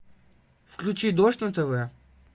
включи дождь на тв